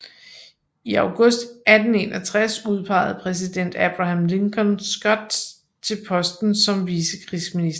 I august 1861 udpegede præsident Abraham Lincoln Scott til posten som vicekrigsminister